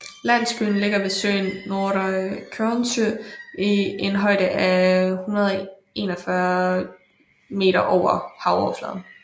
Landsbyen ligger ved søen Nordre Kornsjø i en højde af 141 moh